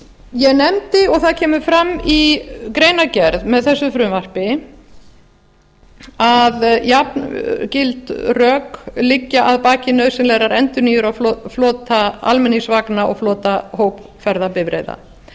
ég nefndi og það kemur fram í greinargerð með þessu frumvarpi að jafngild rök liggja að baki nauðsynlegrar endurnýjunar á flota almenningsvagna og flota hópferðabifreiða